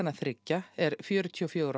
þriggja er fjörutíu og fjögur